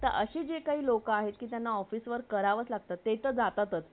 अशी जी काही लोक आहे ज्याना office work करावे लागतात ते तर जातात आस silent